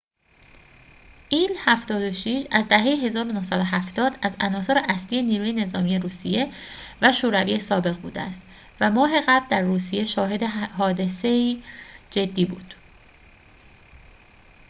ایل-۷۶ از دهه ۱۹۷۰ از عناصر اصلی نیروی نظامی روسیه و شوروی سابق بوده است و ماه قبل در روسیه شاهد حادثه‌ای جدی بود